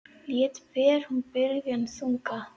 Létt ber hún byrðina þungu.